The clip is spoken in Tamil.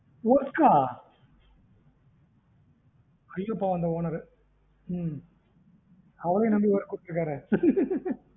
work ஆஹ் ஐயோ பாவம் அவளையும் நம்பி work குடுத்துருக்காரே அந்த owner